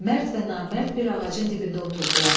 Mərd və Namərd bir ağacın dibində oturdular.